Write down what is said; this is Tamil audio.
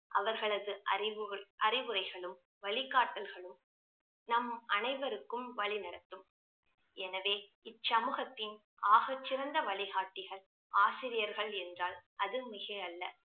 அவர்களது அறிவு~ அறிவுரைகளும் வழிகாட்டல்களும் நம் அனைவருக்கும் வழி நடத்தும் எனவே இச்சமூகத்தின் ஆகச் சிறந்த வழிகாட்டிகள் ஆசிரியர்கள் என்றால் அது மிகையல்ல